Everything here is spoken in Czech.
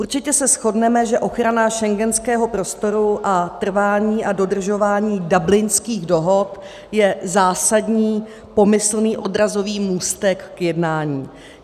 Určitě se shodneme, že ochrana schengenského prostoru a trvání a dodržování Dublinských dohod je zásadní pomyslný odrazový můstek k jednání.